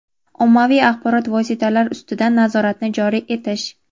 ommaviy axborot vositalari ustidan nazoratni joriy etish;.